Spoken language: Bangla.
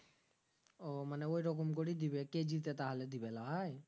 ও মানে ওরকম করি দিবে কেজি তে তাহলে দিবে লই